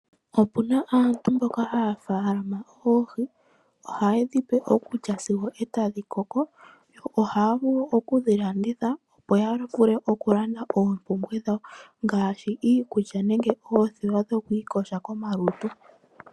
Opuna aantu mboka haya faalama oohi. Oha ye dhipe okulya sigo e tadhi koko. Yo ohaya vulu okudhi landitha, opo yavule okulanda oompumbwe dhawo, ngaashi iikulya, nenge oothewa dhokwiiyoga komalutu.